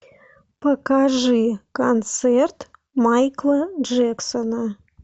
покажи концерт майкла джексона